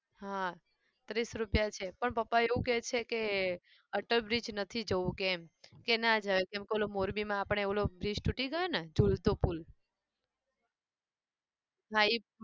હા ત્રીસ રૂપિયા છે પણ પપ્પા એવું કે છે કે અટલ bridge નથી જવું એમ કે ના જવાય કેમ કે પેલો મોરબીમાં આપણે પેલો bridge તૂટી ગયો ને જુલતો પુલ હા ઈ